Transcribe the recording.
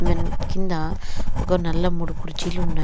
కింద ఒక నల్ల మూడు కుర్చీలు ఉన్నాయి --